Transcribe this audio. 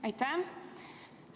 Aitäh!